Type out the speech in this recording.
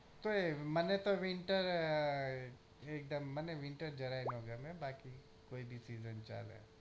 તોય મને તો winter એક દમ મને winter જરાય ન ગમે બાકી કોઈ બી season ચાલે